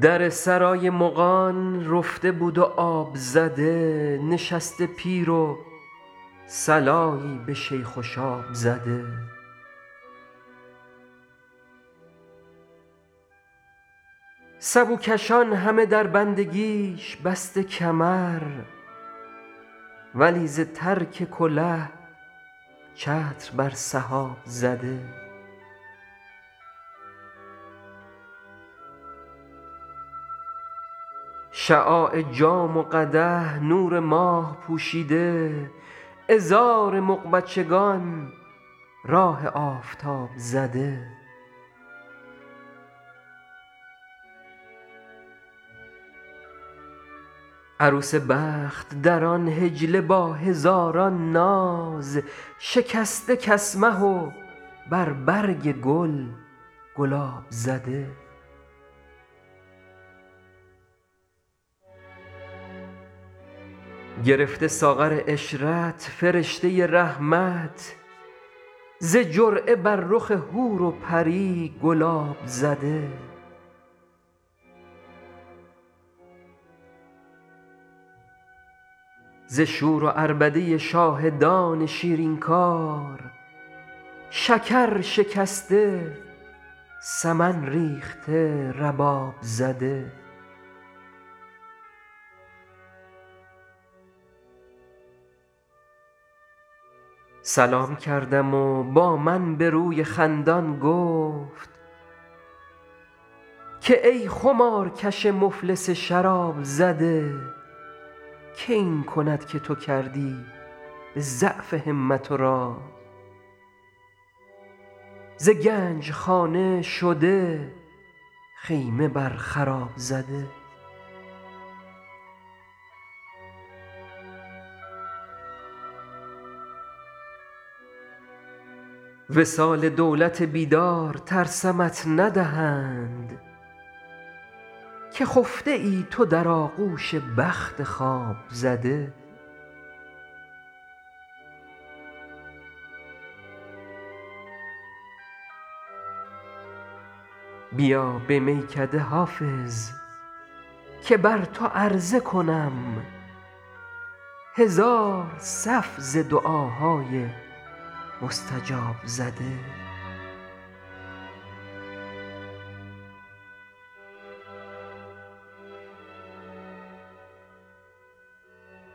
در سرای مغان رفته بود و آب زده نشسته پیر و صلایی به شیخ و شاب زده سبوکشان همه در بندگیش بسته کمر ولی ز ترک کله چتر بر سحاب زده شعاع جام و قدح نور ماه پوشیده عذار مغ بچگان راه آفتاب زده عروس بخت در آن حجله با هزاران ناز شکسته کسمه و بر برگ گل گلاب زده گرفته ساغر عشرت فرشته رحمت ز جرعه بر رخ حور و پری گلاب زده ز شور و عربده شاهدان شیرین کار شکر شکسته سمن ریخته رباب زده سلام کردم و با من به روی خندان گفت که ای خمارکش مفلس شراب زده که این کند که تو کردی به ضعف همت و رای ز گنج خانه شده خیمه بر خراب زده وصال دولت بیدار ترسمت ندهند که خفته ای تو در آغوش بخت خواب زده بیا به میکده حافظ که بر تو عرضه کنم هزار صف ز دعاهای مستجاب زده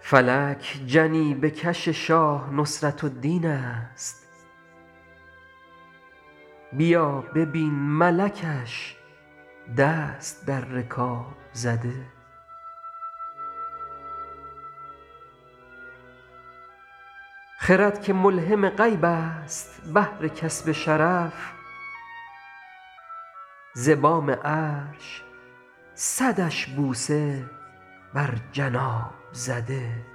فلک جنیبه کش شاه نصرت الدین است بیا ببین ملکش دست در رکاب زده خرد که ملهم غیب است بهر کسب شرف ز بام عرش صدش بوسه بر جناب زده